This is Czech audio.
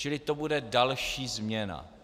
Čili to bude další změna.